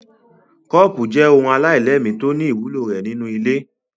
Kọ́ọ́pù jẹ́ ohun aláìlẹ́ẹ̀mí tó ní ìwúlò rẹ̀ nínú ilé.